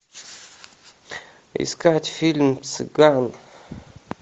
искать фильм цыган